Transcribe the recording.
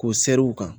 K'o sɛri u kan